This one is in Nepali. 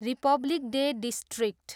Republic day district.